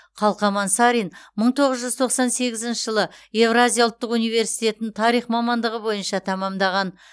қалқаман сарин мың тоғыз жүз тоқсан сегізінші жылы евразия ұлттық университетін тарих мамандығы бойынша тәмәмдаған